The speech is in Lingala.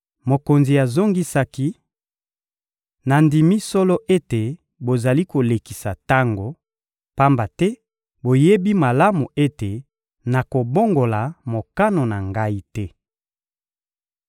Mokonzi azongisaki: — Nandimi solo ete bozali kolekisa tango, pamba te boyebi malamu ete nakobongola mokano na ngai te.